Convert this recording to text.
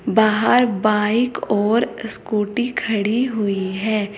बाहर बाइक और स्कूटी खड़ी हुई है।